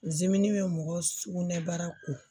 Zimini bɛ mɔgɔ sugunɛbara ko